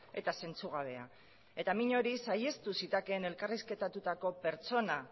eta zentzugabea eta min hori saihestu zitekeen elkarrizketatutako pertsona